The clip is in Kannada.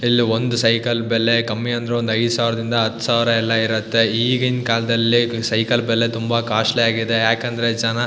ಇಲ್ಲಿ ಒಂದು ಸೈಕಲ್ ಬೆಲೆ ಕಮ್ಮಿ ಅಂದ್ರು ಐದು ಸಾವಿರದಿಂದ ಹತ್ತು ಸಾವಿರ ಎಲ್ಲಾ ಇರುತ್ತೆ ಈಗಿನ್ ಕಾಲದಲ್ಲಿ ಸೈಕಲ್ ಬೆಲೆ ತುಂಬಾ ಕಾಸ್ಟ್ಲಿ ಆಗಿದೆ ಯಾಕಂದ್ರೆ ಜನ.